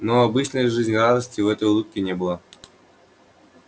но обычной жизнерадостности в этой улыбке не было